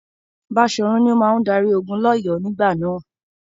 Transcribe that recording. Baṣòrun ni ó máa darí ogun lỌ́yọ̀ọ́ nígbà náà.